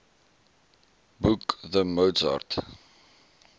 boek the mozart